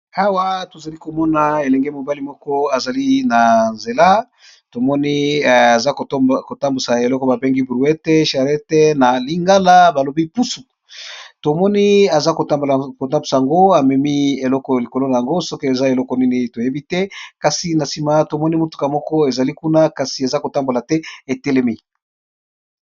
Awa tozali komona elenge mobali moko ezali na nzela tomoni aza kotambusa eloko babengi brouete charlette na lingala balobi pusu tomoni aza kotambola kotambusa yango amemi eloko likolo na yango soki eza eloko nini toyebi te kasi na nsima tomoni motuka moko ezali kuna kasi eza kotambola te etelemi.